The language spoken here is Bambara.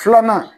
Filanan